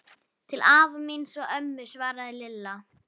Til afa míns og ömmu svaraði Lilla.